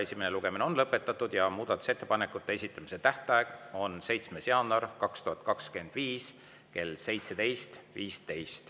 Esimene lugemine on lõpetatud ja muudatusettepanekute esitamise tähtaeg on 7. jaanuar 2025 kell 17.15.